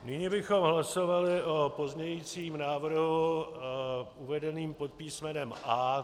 Nyní bychom hlasovali o pozměňujícím návrhu uvedeném pod písmenem A.